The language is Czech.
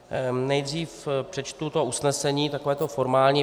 Nejdříve přečtu to usnesení, takové to formální.